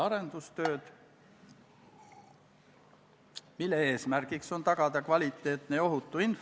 Kõnesoove ei ole ja me saame minna lõpphääletuse juurde.